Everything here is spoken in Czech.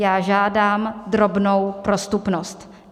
Já žádám drobnou prostupnost.